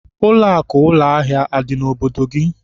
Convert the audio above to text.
Ụlọakụ ụlọahịa adị n'obodo gị?